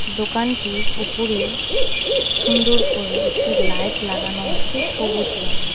দোকানটির ওপরে সুন্দর করে একটি লাইট লাগানো আছে সবুজ রঙের।